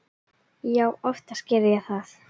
Já, oftast geri ég það.